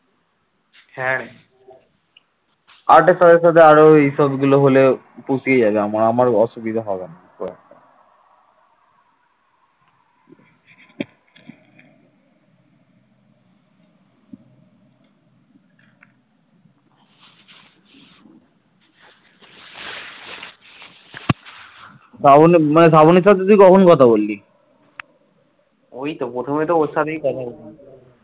ঐতো প্রথমে ওর সাথে কথা বললাম